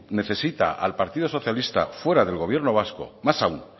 necesita al partido socialista fuera del gobierno vasco más aun